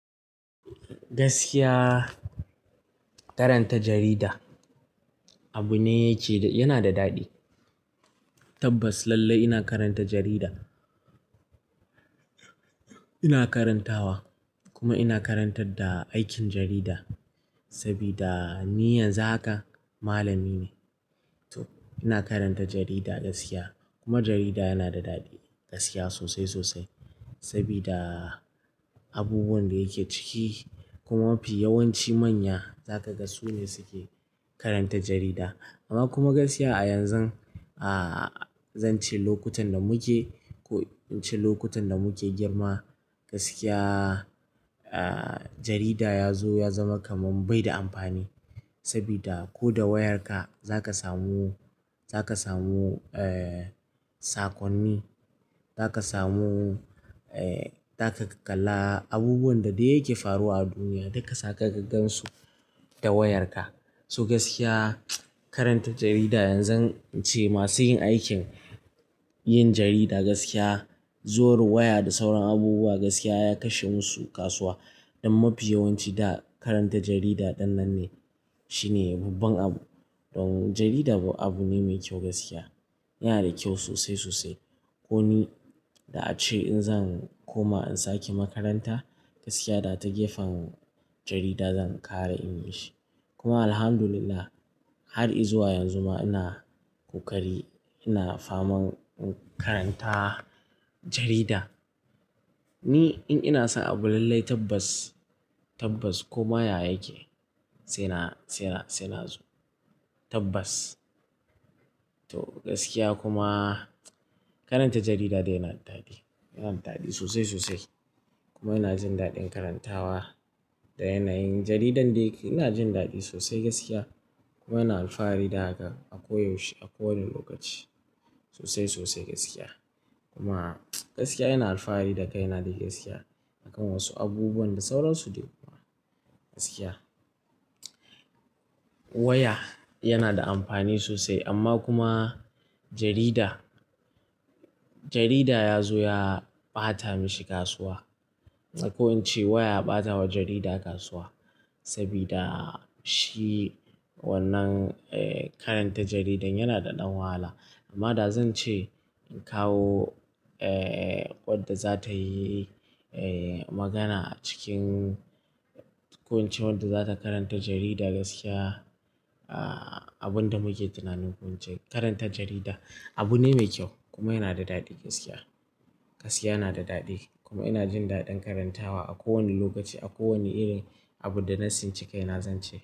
Gaskiya karanta jarida abu ne yake, yana da dadi. Tabbas lallai ina karanta jarida. Ina karantawa kuma ina karantar da aikin jarida sabida ni yanzu haka malami ne. To ina karanta jarida gaskiya kuma jarida yana da dadi gaskiya sosai sosai. Saboda abubuwan da yake ciki kuma mafi yawanci manya zakaga sune suke karanta jarida. Amma kuma gaskiya a yanzu ah zan ce lokutan da muke ko ince lokutan da muke girma gaskiya jarida ya zo ya zama kamar bai da amfani saboda ko da wayarka za ka samu, zaka samu eh sakonni, za ka samu, za ka kalla abubuwan da yake faruwa a duniya duka za ka gaggan su ta wayarka. So gaskiya karanta jarida yanzu ince masu yin aikin yin jarida gaskiya zuwar waya da sauran abubuwa gaskiya ya kashe musu kasuwa don mafi yawanci da karanta jarida dan nan ne shine yababben abu. Don jarida abu ne mai kyau gaskiya yana da kyau sosai sosai. Ko ni da ace in zan koma in sake makaranta gaskiya da ta gefen jarida zan kara English. Kuma Alhamdulillah har izuwa yanzu ma ina kokari, ina faman karanta jarida. Ni in ina son abu lallai tabbas, tabbas koma ya yake sai na, sai na zo tabbas. To gaskiya kuma karanta jarida dai yana da dadi, yana da dadi sosai sosai kuma ina jin dadin karantawa da yanayin jaridan da yake. Ina jin dadi sosai gaskiya kuma ina alfahari da haka a koyaushe a kowane lokaci sosai sosai gaskiya. Kuma gaskiya ina alfahari da kai na da gaskiya akan wasu abubuwan da sauran su dai kuma gaskiya. Waya yana da amfani sosai amma kuma jarida, jarida ya zo ya bata mishi kasuwa. Ko ince waya ya batawa jarida kasuwa sabida shi wannan eh karanta jaridan yana da dan wahala. Amma da zan ce in kawo wadda za ta yi magana acikin ko ince wadda za ta karanta jarida gaskiya. Abin da muke tunanin ko ince karanta jarida abu ne mai kyau kuma yana da dadi gaskiya. Gaskiya yana da dadi kuma ina jin dadin karantawa a kowane lokaci a kowane irin abu da na tsinci kai na zan ce.